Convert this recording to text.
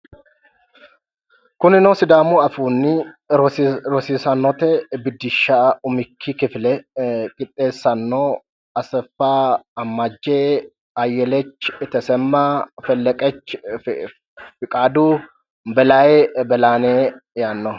Kunino sidaamu afiinni rosiisaanote biddishsha umikki kifile qixxeessanno Asefa Ammajje, Ayelech Tesema, Felekech Fikadu, Belaye yaannoho.